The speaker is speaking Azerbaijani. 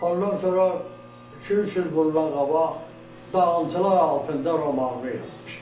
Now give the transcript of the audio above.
Ondan sonra iki-üç il bundan qabaq dağlantılar altında romanımı yazmışam.